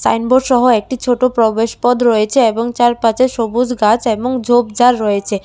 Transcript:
আইনবোর্ডসহ একটি ছোট প্রবেশ পথ রয়েছে এবং চারপাচে সবুজ গাছ এবং ঝোপঝাড় রয়েছে।